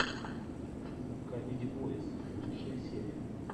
камеди бойс лучшая серия